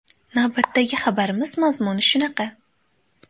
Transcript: Navbatdagi xabarimiz mazmuni shunaqa.